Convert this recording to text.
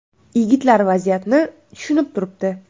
Yigitlar vaziyatni tushunib turibdi.